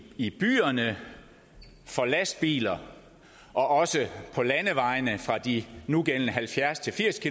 i byerne for lastbiler og også på landevejene fra de nugældende halvfjerds til firs